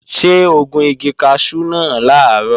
Ṣé o gun igi kaṣú náà làárọ̀?